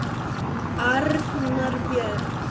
Arnar Björn.